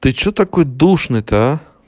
ты что такой душный то а